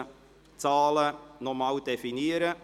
Somit kommen wir zum Antrag der FiKo-Mehrheit.